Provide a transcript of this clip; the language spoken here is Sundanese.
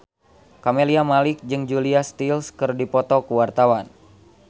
Camelia Malik jeung Julia Stiles keur dipoto ku wartawan